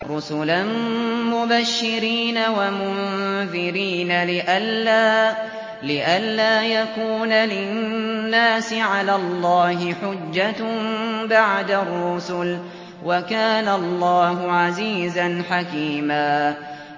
رُّسُلًا مُّبَشِّرِينَ وَمُنذِرِينَ لِئَلَّا يَكُونَ لِلنَّاسِ عَلَى اللَّهِ حُجَّةٌ بَعْدَ الرُّسُلِ ۚ وَكَانَ اللَّهُ عَزِيزًا حَكِيمًا